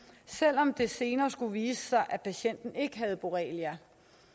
selv om det senere skulle vise sig at patienten ikke havde borrelia